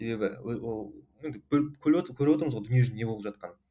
себебі көріватырмыз ғой дүние жүзінде не болып жатқанын